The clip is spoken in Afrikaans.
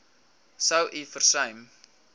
sou u versuim